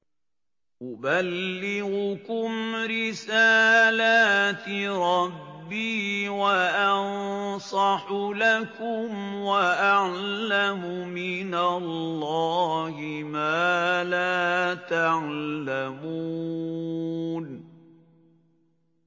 أُبَلِّغُكُمْ رِسَالَاتِ رَبِّي وَأَنصَحُ لَكُمْ وَأَعْلَمُ مِنَ اللَّهِ مَا لَا تَعْلَمُونَ